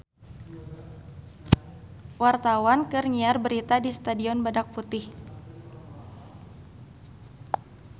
Wartawan keur nyiar berita di Stadion Badak Putih